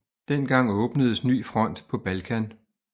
Dengang åbnedes ny front på Balkan